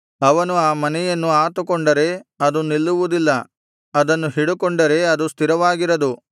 ಅವನು ಆ ಮನೆಯನ್ನು ಆತುಕೊಂಡರೆ ಅದು ನಿಲ್ಲುವುದಿಲ್ಲ ಅದನ್ನು ಹಿಡುಕೊಂಡರೆ ಅದು ಸ್ಥಿರವಾಗಿರದು